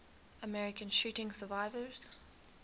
american shooting survivors